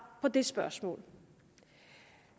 på det spørgsmål